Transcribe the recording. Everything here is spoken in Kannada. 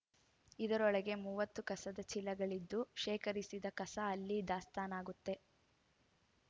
ಇದರೊಳಗೆ ಮೂವತ್ತು ಕಸದ ಚೀಲಗಳಿದ್ದು ಶೇಖರಿಸಿದ ಕಸ ಅಲ್ಲಿ ದಾಸ್ತಾನಾಗುತ್ತೆ